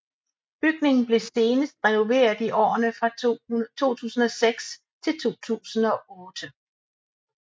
Bygningen blev senest renoveret i årene fra 2006 til 2008